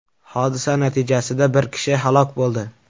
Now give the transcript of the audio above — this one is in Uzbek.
Hodisa natijasida bir kishi halok bo‘ldi.